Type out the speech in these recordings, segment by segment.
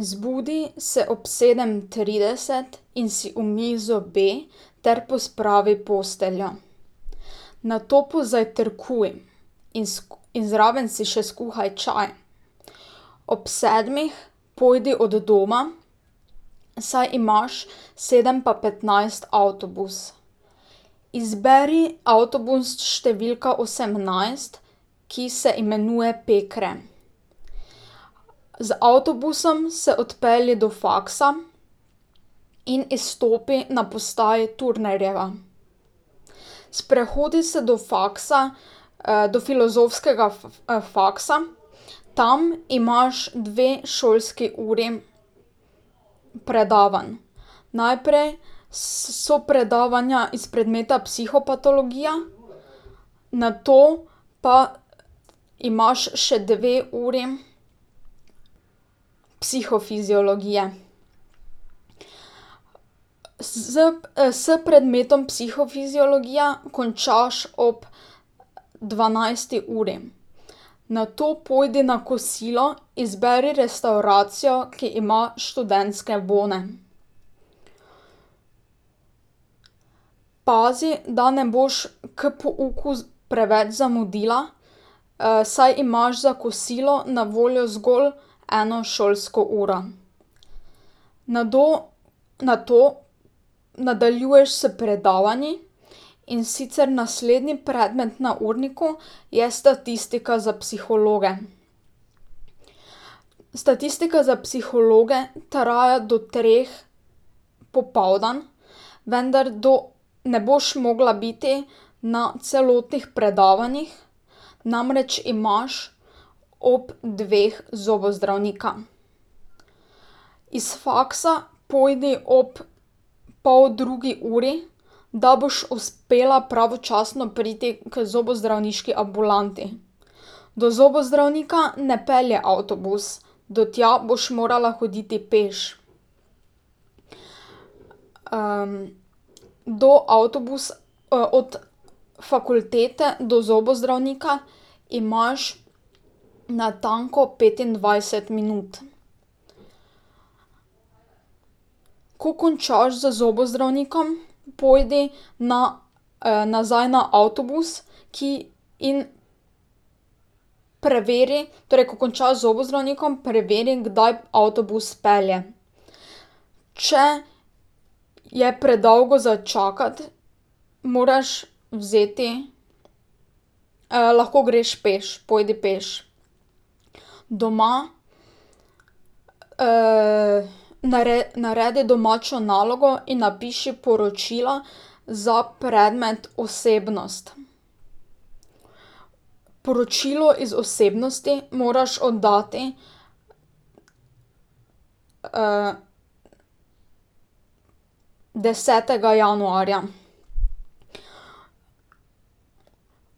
Zbudi se ob sedem trideset in si umij zobe ter pospravi posteljo. Nato pozajtrkuj in in zraven si še skuhaj čakaj. Ob sedmih pojdi od doma, saj imaš sedem pa petnajst avtobus. Izberi avtobus številka osemnajst, ki se imenuje Pekre. Z avtobusom se odpelji do faksa in izstopi na postaji Turnerjeva. Sprehodi se do faksa, do filozofskega faksa, tam imaš dve šolski uri predavanj. Najprej so predavanja iz predmeta Psihopatologija, nato pa imaš še dve uri Psihofiziologije. Szp s predmetom Psihofiziologija končaš ob dvanajsti uri. Nato pojdi na kosilo, izberi restavracijo, ki ima študentske bone. Pazi, da ne boš k pouku preveč zamudila, saj imaš za kosilo na voljo zgolj eno šolsko uro. Nado, nato nadaljuješ s predavanji, in sicer naslednji predmet na urniku je Statistika za psihologe. Statistika za psihologe traja do treh popoldan, vendar do ne boš mogla biti na celotnih predavanjih, namreč imaš ob dveh zobozdravnika. Iz faksa pojdi ob poldrugi uri, da boš uspela pravočasno priti k zobozdravniški ambulanti. Do zobozdravnika ne pelje avtobus, do tja boš morala hoditi peš. do od fakultete do zobozdravnika imaš natanko petindvajset minut. Ko končaš z zobozdravnikom, pojdi na nazaj na avtobus, ki in ... Preveri, torej ko končaš z zobozdravnikom, preveri, kdaj avtobus pelje. Če je predolgo za čakati, moraš vzeti ... lahko greš peš, pojdi peš. Doma naredi domačo nalogo in napiši poročila za predmet Osebnost. Poročilo iz Osebnosti moraš oddati desetega januarja.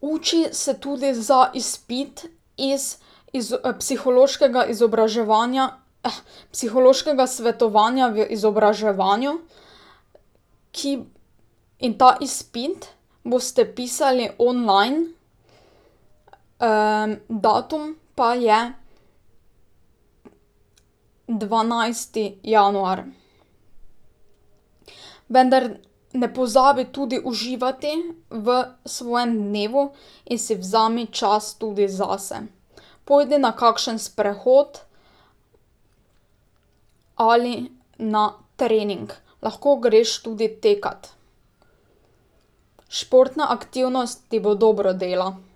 Uči se tudi za izpit iz, iz Psihološkega izobraževanja, Psihološkega svetovanja v izobraževanju, ki ... In ta izpit boste pisali online, datum pa je dvanajsti januar. Vendar ne pozabi tudi uživati v svojem dnevu in si vzemi čas tudi zase. Pojdi na kakšen sprehod ali na trening. Lahko greš tudi tekat. Športna aktivnost ti bo dobro dela.